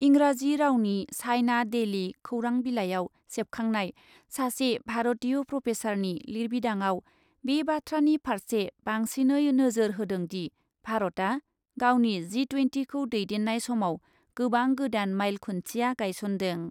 इंराजी रावनि China Daily खौरां बिलाइयाव सेबखांनाय सासे भारतीय प्रफेसारनि लिरबिदांआव बे बाथ्रानि फारसे बांसिनै नोजोर होदोंदि , भारतआ गावनि जि ट्वेन्टिखौ दैदेन्नाय समाव गोबां गोदान माइल खुन्थिया गायसन्दों ।